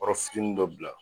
Yɔrɔfitini dɔ bila